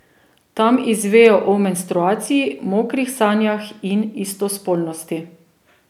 Tam izvejo o menstruaciji, mokrih sanjah in istospolnosti.